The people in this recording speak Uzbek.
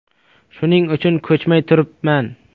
Shuning uchun ko‘chmay turibman.